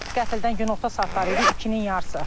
Qəfildən günorta saatları idi, ikinin yarısı.